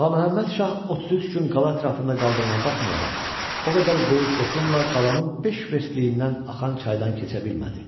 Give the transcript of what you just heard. Ağa Məhəmməd Şah 33 gün qala ətrafında qaldığına baxmayaraq, o qədər böyük qoşunla qalanın beş verstliyindən axan çaydan keçə bilmədi.